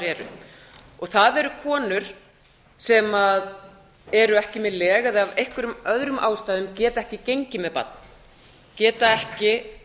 eru og það eru konur sem eru ekki með leg eða af einhverjum öðrum ástæðum geta ekki gengið með barn geta ekki